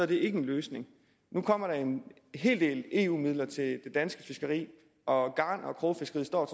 det ikke en løsning nu kommer der en hel del eu midler til det danske fiskeri og garn og krogfiskeriet står